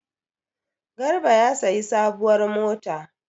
Garba ya sayi sabuwar mota.